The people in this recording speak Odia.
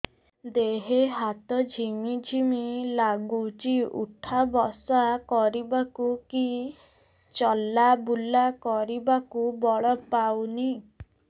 ଦେହେ ହାତ ଝିମ୍ ଝିମ୍ ଲାଗୁଚି ଉଠା ବସା କରିବାକୁ କି ଚଲା ବୁଲା କରିବାକୁ ବଳ ପାଉନି